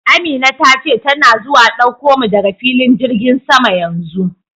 Amina ta ce tana zuwa dauko mu daga filin jirgin sama yanzu.